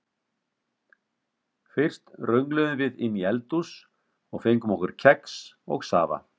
Fyrst röngluðum við inn í eldhús og fengum okkur kex og safa.